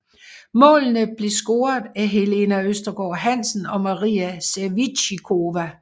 Målene blev scoret af Helene Østergaard Hansen og Maria Sevicikova